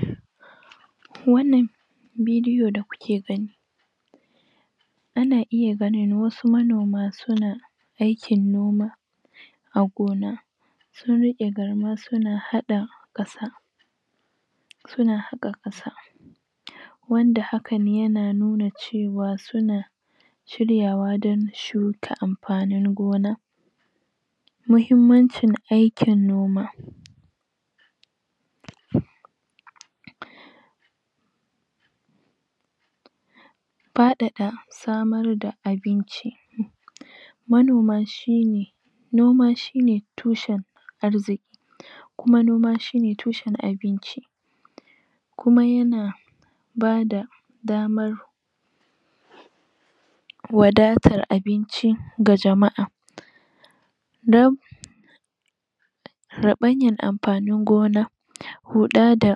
? wannan bidiyo da kuke gani ana iya ganin wasu manoma suna aikin noma a gona sun riƙe garma suna haɗa ƙasa suna haƙa ƙasa wanda hakan yana nuna cewa suna shiryawa don shuka amfanin gona muhimmancin aikin noma? faɗaɗa samar da abinci manoma shine noma shine tushen arziki kuma noma shine tusheb abinci kuma yana ba da damar wadatar abinci ga jama'a dab raɓanyar amfanin gona huɗa da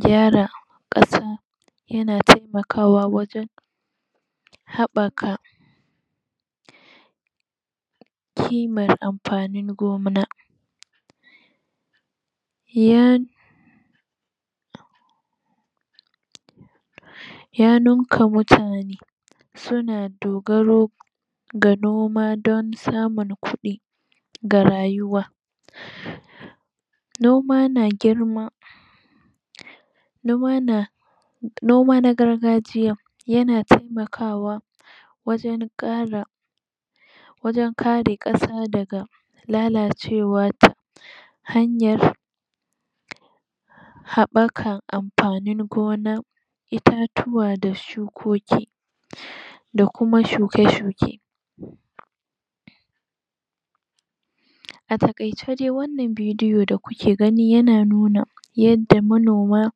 gyara ƙasa yana taimakawa wajen haɓaka kimar amfanin gona ya ya ninka mutane suna dogaro ga noma don samun kuɗi ga rayuwa noma na girma noma na noma na gargajiya yana taimakawa wajen ƙara wajen kare ƙasa daga lalacewa ta hanyar haɓakar amfanin gona itatuwa da shukoki da kuma shuke shuke a taƙaice dai wannan bidiyon da kuke gani yana nuna yadda manoma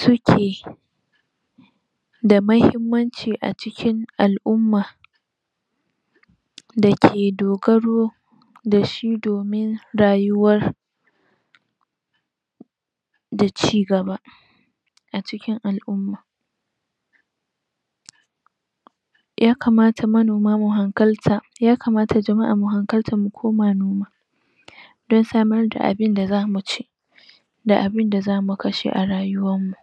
suke da muhimmanci a cikin al'umma da ke dogaro da shi domin rayuwar da cigaba a cikin al'umma yakamata manoma mu hankalta yakamata jama'a mu hankalta mu koma noma don samar da abinda zamu ci da abinda zamu kashe a rayuwar mu